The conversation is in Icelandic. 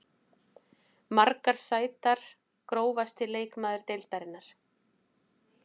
Margar sætar Grófasti leikmaður deildarinnar?